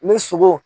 Ni sogo